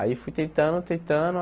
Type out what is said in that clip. Aí fui tentando, tentando.